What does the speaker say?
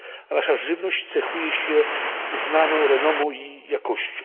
Nasza żywność cechuje się uznaną renomą i jakością.